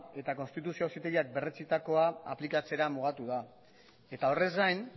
eta konstituzio auzitegiak berretsitakoa aplikatzera mugatua eta horrez gain